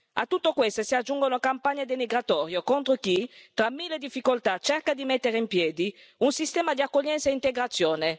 A tutto questo si aggiungono campagne denigratorie contro chi, tra mille difficoltà, cerca di mettere in piedi un sistema di accoglienza e di integrazione.